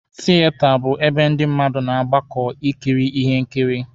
Tieta bụ ebe ndị mmadụ na-agbakọ ikiri ihe nkiri.